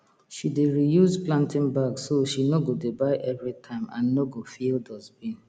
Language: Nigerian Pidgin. she dey reuse planting bag so she no go dey buy every time and no go fill dustbin